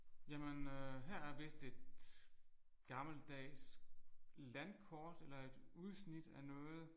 Jamen øh her er vist et gammeldags landkort eller et udsnit af noget